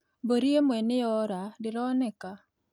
Mbũri ĩmwe nĩ yora, ndĩroneka